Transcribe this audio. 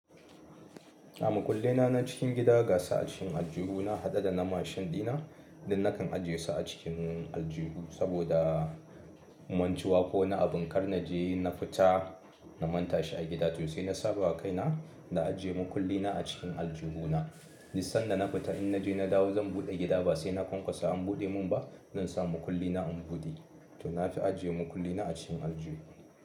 A makullai na na cikin gida gasu a cikin aljihu na haɗa da na mashin ɗina, dun nakan ajiye su a cikin aljihu saboda mantuwa ko wani abin kar na je na fita na manta shi a gida, to sai na saba wa kaina na ajiye makulli na a cikin aljihu na. Dun sanda na fita in na je na dawo zan buɗe gida ba sai na kwankwasa an buɗe mun ba, zan sa makulli na in buɗe. To na fi ajiye makulli na a cikin aljihu.